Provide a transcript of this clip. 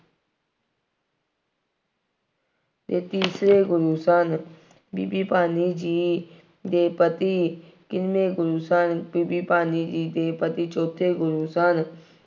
ਦੇ ਤੀਸਰੇ ਗੁਰੂ ਸਨ। ਬੀਬੀ ਭਾਨੀ ਜੀ ਦੇ ਪਤੀ ਕਿੰਨਵੇਂ ਗੁਰੂ ਸਨ? ਬੀਬੀ ਭਾਨੀ ਜੀ ਦੇ ਪਤੀ ਚੌਥੇ ਗੁਰੂ ਸਨ।